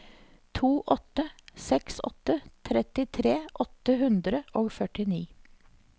to åtte seks åtte trettitre åtte hundre og førtini